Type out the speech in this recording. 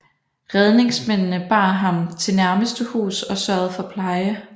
Redningsmændene bar ham til nærmeste hus og sørgede for pleje